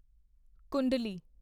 ਕੁੰਡਲੀ